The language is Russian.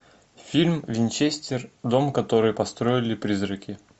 фильм винчестер дом который построили призраки